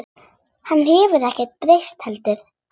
Hann hefur ekkert breyst heldur.